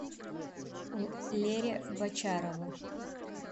лере бочарову